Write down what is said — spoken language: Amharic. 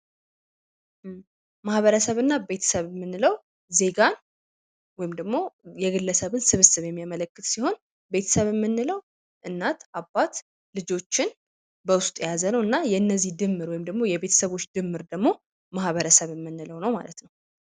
ማኀበረሰብና ቤተሰብ የምንለው ዜጋ ወይም ደግሞ የግለሰብን ስብስብ የሚያመለክት ሲሆን ቤተሰብን የምንለው እናት አባት ልጆችን በውስጡ የያዘ ነውና የነዚህ ድምር ወይም ደግሞ የቤተሰቦች ድምር ደግሞ ማበረሰብ የምንለው ነው ማለት ነው።